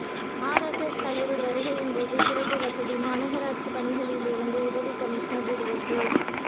RSS தலைவர் வருகையின்போது சிறப்பு வசதி மாநகராட்சி பணிகளிலிருந்து உதவி கமிஷனர் விடுவிப்பு